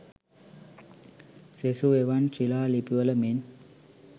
සෙසු එවන් ශිලා ලිපිවල මෙන්